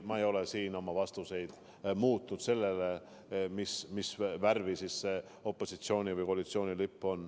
Ma ei ole siin oma vastuseid muutnud vastavalt sellele, mis värvi on opositsiooni või koalitsiooni lipp.